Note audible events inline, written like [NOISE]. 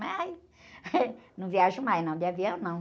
Mas [LAUGHS] não viajo mais, não, de avião, não.